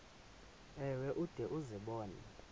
ewe ude uzibone